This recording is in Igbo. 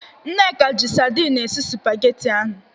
Nneka ji sadin esi spageti ahụ.